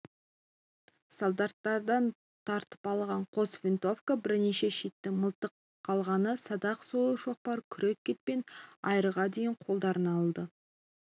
солдаттардан тартып алған қос винтовка бірнеше шитті мылтық қалғаны садақ сойыл шоқпар күрек кетпен айырға дейін қолдарына алды